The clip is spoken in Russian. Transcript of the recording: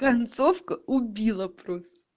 концовка убила просто